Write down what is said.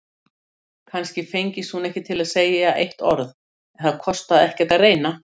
Kannski fengist hún ekki til að segja eitt orð, en það kostaði ekkert að reyna.